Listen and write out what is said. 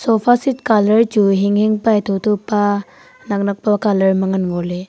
sofaset colour chu hing hing pa nak nak pa ma ngan ngo ley.